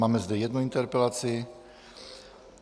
Máme zde jednu interpelaci.